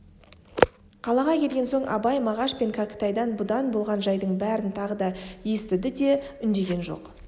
қалаға келген соң абай мағаш пен кәкітайдан бұнда болған жайдың бәрін тағы естіді де үндеген жоқ